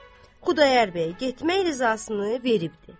Yəni Xudayar bəy getmək rizasına verib.